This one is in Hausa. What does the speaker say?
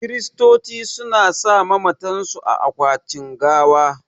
Kiristoci su na sa mamatan su a akwatin gawa